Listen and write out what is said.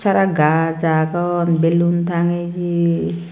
aro gaaj agon belun tangeye.